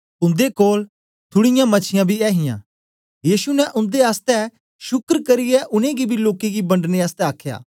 उन्दे कोल थुड़ीयां मछीयां बी थीयां यीशु ने उन्दे आस्ते शुक्र करियै उनै गी बी लोकें गी बंडने आसतै आखया